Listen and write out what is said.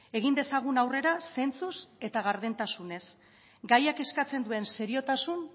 egin dezagun aurrera zentzuz eta gardentasunez gaiak eskatzen duen seriotasun